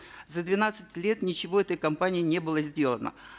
за двенадцать лет ничего этой компанией не было сделано